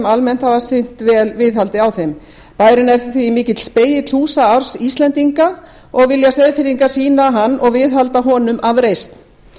almennt hafa sinnt vel viðhaldi á þeim bærinn er því mikill spegill húsa arfs íslendinga og vilja seyðfirðingar sýna hann og viðhalda honum af reisn